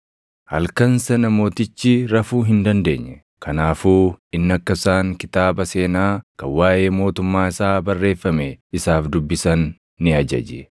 Halkan sana mootichi rafuu hin dandeenye; kanaafuu inni akka isaan kitaaba seenaa kan waaʼee mootummaa isaa barreeffame isaaf dubbisan ni ajaje.